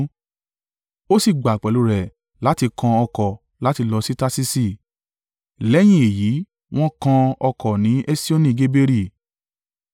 Ó sì gbà pẹ̀lú rẹ̀ láti kan ọkọ̀ láti lọ sí Tarṣiṣi, lẹ́yìn èyí wọ́n kan ọkọ̀ ní Esioni-Geberi.